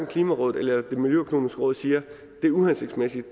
klimarådet og det miljøøkonomiske råd siger at det er uhensigtsmæssigt